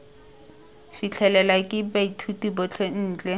fitlhelelwe ke baithuti botlhe ntle